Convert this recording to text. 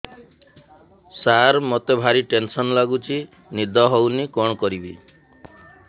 ସାର ମତେ ଭାରି ଟେନ୍ସନ୍ ଲାଗୁଚି ନିଦ ହଉନି କଣ କରିବି